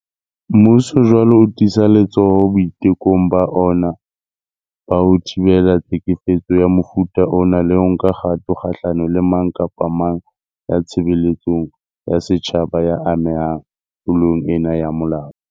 Mmuso jwale o tiisa letsoho boitekong ba ona ba ho thibela tlhekefetso ya mofuta ona le ho nka kgato kgahlano le mang kapa mang ya tshebeletsong ya setjhaba ya amehang tlo long ena ya molao.